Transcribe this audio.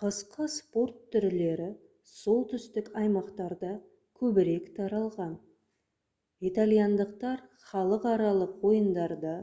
қысқы спорт түрлері солтүстік аймақтарда көбірек таралған итальяндықтар халықаралық ойындарда